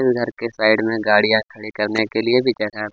इस घर के साइड में गाड़ियाँ खड़ी करने के लिए भी जगह --